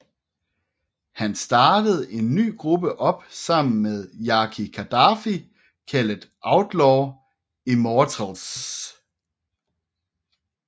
Han startede en ny gruppe op sammen med Yaki Kadafi kaldet Outlaw Immortalz